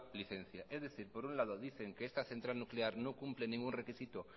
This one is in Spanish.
licencia es decir por un lado dicen que esta central nuclear no cumple ningún requisito